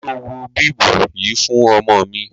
Ṣo wọ bíbù yìí fún ọmọ mi?